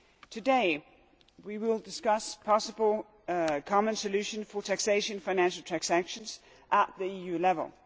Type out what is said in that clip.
Today we will discuss a possible common solution for taxation of financial transactions at EU level.